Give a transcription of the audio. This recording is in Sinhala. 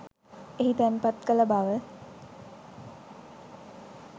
එහි තැන්පත් කළ බව